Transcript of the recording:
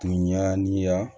Tun ɲa ni ya